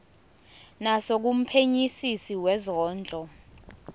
naso kumphenyisisi wezondlo